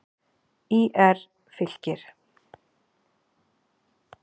ÍR- Fylkir